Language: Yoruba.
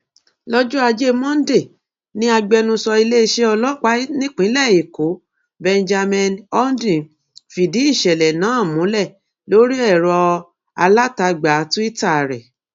lọjọ ajé monde ni agbẹnusọ iléeṣẹ ọlọpàá nípìnlẹ ẹkọ benjamin hondyin fìdí ìṣẹlẹ náà múlẹ lórí ẹrọ alátagbà twitter rẹ